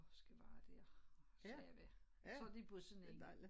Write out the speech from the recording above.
Og skal være der så jeg ved og så de på sådan en